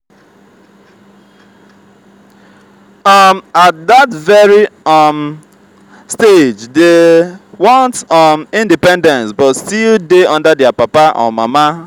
um at that very um stage they want um independence but still de under their papa or mama